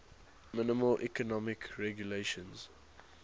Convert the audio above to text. minimal economic regulations